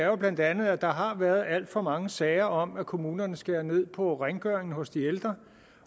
jo bla at der har været alt for mange sager om at kommunerne skærer ned på rengøringen hos de ældre